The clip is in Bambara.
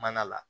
Mana la